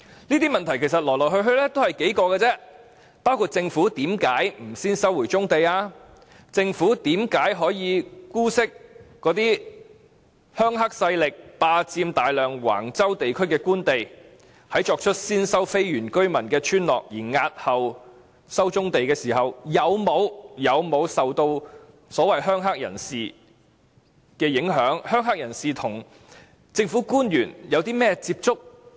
這些問題其實來來去去只是數個，包括政府為何不先收回棕地，政府為何可以姑息"鄉黑"勢力霸佔大量橫洲地區的官地，在作出先收非原居民村落而押後收棕地時，有沒有受到"鄉黑"人士的影響，"鄉黑"人士與政府官員有甚麼接觸。